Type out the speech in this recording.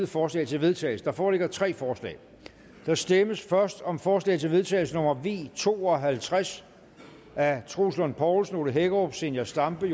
forslag til vedtagelse der foreligger tre forslag der stemmes først om forslag til vedtagelse nummer v to og halvtreds af troels lund poulsen ole hækkerup zenia stampe